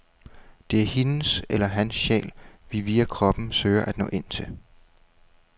Det er hendes eller hans sjæl, vi via kroppen søger at nå ind til.